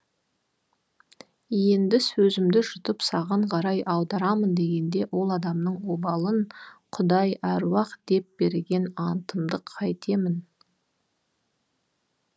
енді сөзімді жұтып саған қарай аударамын дегенде ол адамның обалын құдай аруақ деп берген антымды қайтемін